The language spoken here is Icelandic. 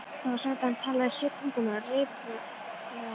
Það var sagt að hann talaði sjö tungumál reiprennandi.